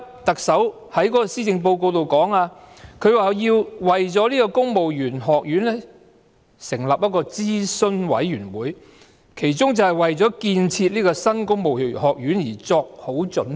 特首在施政報告中提到，為了設立公務員學院需要成立諮詢委員會，它的其中一項工作就是為了建設公務員學院作好準備。